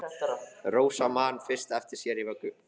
Rósa man fyrst eftir sér í vöggu!